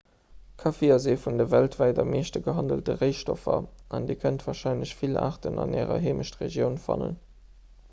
kaffi ass ee vun de weltwäit am meeschte gehandelte réistoffer an dir kënnt warscheinlech vill aarten an ärer heemechtregioun fannen